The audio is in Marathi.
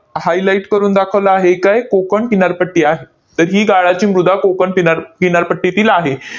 highlight करून दाखवलं आहे. इथं आहे कोकण किनारपट्टी आहे. तर ही गाळाची मृदा कोकण किनार किनारपट्टीतील आहे.